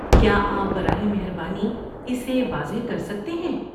کیا آپ براہ مہربانی اسے واضح کر سکتے ہیں؟